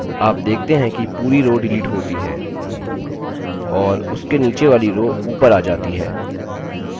आप देखते हैं कि पूरी row डिलीट होती है और उसके नीचे वाली row ऊपर आ जाती है